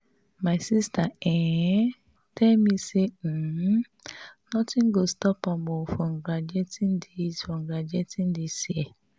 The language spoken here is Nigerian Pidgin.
my sister um tell me say um nothing go stop am um from graduating dis from graduating dis year